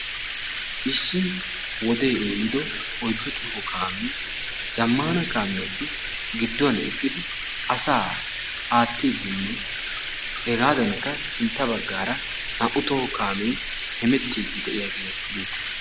Issi wode ehido oyddu toho kaame zammana kaamiyaassi gidduwan eqqidi asaa aattidinne hegadankka sintta baggaara naa''u toho kaame hemettidi de'iyaage beettees.